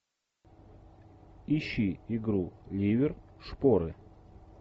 ищи игру ливер шпоры